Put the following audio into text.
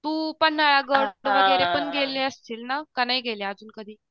तू पन्हाळा गड वगैरे पण गेली असशील ना का नाही गेली अजून कधी.